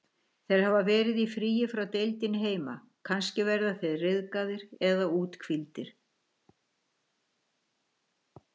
Þeir hafa verið í fríi frá deildinni heima, kannski verða þeir ryðgaðir eða úthvíldir.